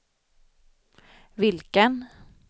vilken